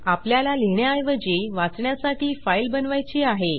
आपल्याला लिहिण्याऐवजी वाचण्यासाठी फाईल बनवायची आहे